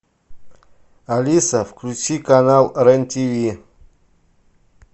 алиса включи канал рен тв